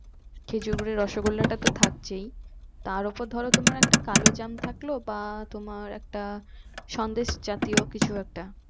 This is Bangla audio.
খেজুর গুড়ের রসগোল্লাটা তো থাকছেই তারওপর ধরো একটা কালো জ্যাম থাকলো বা তোমার একটা সন্দেশ জাতীয় কিছু একটা